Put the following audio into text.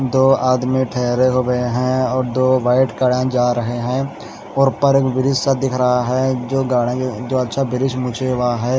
दो आदमी ठहरे हुए हैं और दो बैठ करें जा रहे हैं और ऊपर एक दृश्य दिख रहा है जो गार्डन जो अच्छा दृश्य मुझे वहां है।